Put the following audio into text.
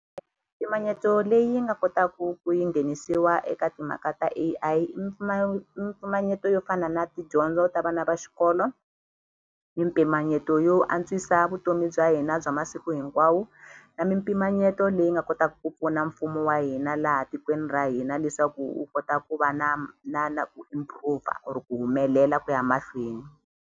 Mpimanyeto leyi nga kotaku ku yi nghenisiwa eka timhaka ta A_I i i mimpimanyeto yo fana na tidyondzo ta vana va xikolo mimpimanyeto yo antswisa vutomi bya hina bya masiku hinkwawo na mimpimanyeto leyi nga kotaku ku pfuna mpfumo wa hina laha tikweni ra hina leswaku wu kota ku va na na ku impover or ku humelela ku ya mahlweni.